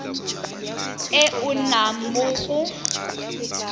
e o nnang mo go